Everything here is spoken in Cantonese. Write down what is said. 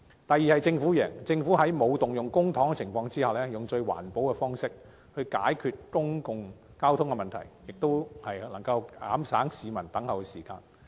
第二，政府贏，政府在沒有動用公帑的情況下，以最環保的方式，解決公共交通問題，亦能減省市民的輪候時間。